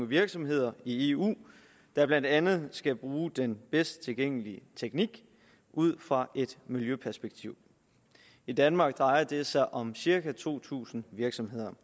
virksomheder i eu der blandt andet skal bruge den bedst tilgængelige teknik ud fra et miljøperspektiv i danmark drejer det sig om cirka to tusind virksomheder